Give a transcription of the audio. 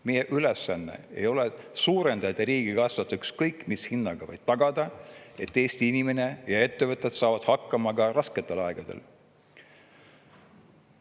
Meie ülesanne ei ole suurendada riigikassat ükskõik mis hinnaga, vaid tagada, et Eesti inimene ja ettevõtjad saavad hakkama ka rasketel aegadel.